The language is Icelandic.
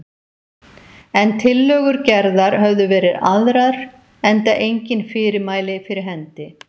En tillögur Gerðar höfðu verið aðrar, enda engin fyrirmæli fyrir hendi.